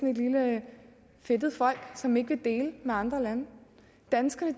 et lille fedtet folk som ikke vil dele med andre lande danskerne